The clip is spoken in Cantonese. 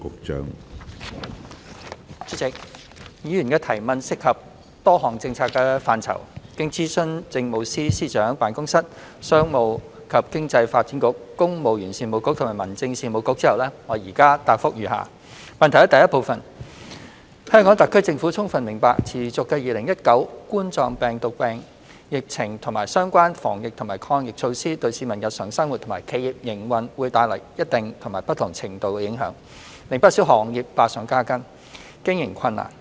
主席，議員的質詢涉及多項政策範疇，經諮詢政務司司長辦公室、商務及經濟發展局、公務員事務局及民政事務局後，我現答覆如下：一香港特區政府充分明白持續的2019冠狀病毒病疫情和相關防疫及抗疫措施對市民日常生活及企業營運會帶來一定及不同程度的影響，令不少行業百上加斤，經營困難。